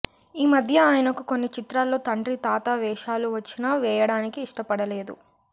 ఈమధ్య ఆయనకు కొన్ని చిత్రాల్లో తండ్రి తాత వేషాలు వచ్చినా వేయడానికి ఇష్టపడలేదు